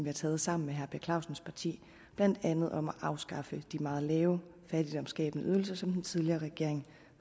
har taget sammen med herre per clausens parti blandt andet beslutningen om at afskaffe de meget lave og fattigdomsskabende ydelser som den tidligere regering